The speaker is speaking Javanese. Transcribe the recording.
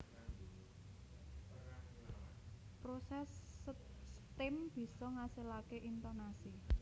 Proses setem bisa ngasilake intonasi